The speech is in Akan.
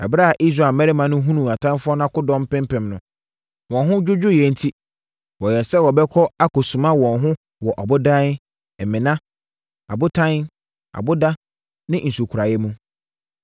Ɛberɛ a Israel mmarima no hunuu atamfoɔ no akodɔm mpempem no, wɔn ho dwodwoeɛ enti, wɔyɛɛ sɛ wɔbɛkɔ akɔsuma wɔn ho wɔ abodan, mmena, abotan, aboda ne nsukoraeɛ mu.